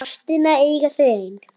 Ástina eiga þau ein.